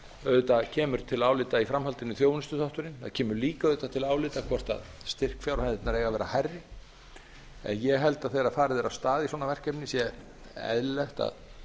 auðvitað kemur til álita í framhaldinu þjónustuþátturinn það kemur líka auðvitað til álita hvort styrkfjárhæðirnar eigi að vera hærri en ég held að þegar farið er af stað í svona verkefni sé eðlilegt að